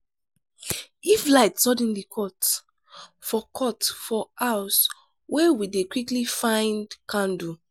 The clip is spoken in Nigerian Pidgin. if light suddenly cut for cut for house we dey quickly find candle.